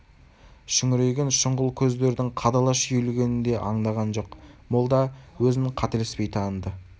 шүңірейген шұңғыл көздердің қадала шүйілгенін де аңдаған жоқ молда өзін қателеспей таныды